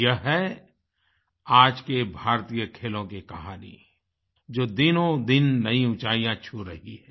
ये है आज के भारतीय खेलों की कहानी जो दिनों दिन नई ऊचाईयाँ छू रही है